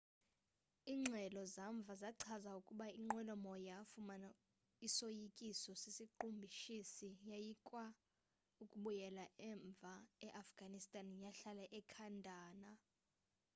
ingxelo zamva zachaza ukuba inqwelomoya yafumana isoyikiso sesiqhushumbisi yajikwa ukubuyela umva e afghanistan yahlala ekandahar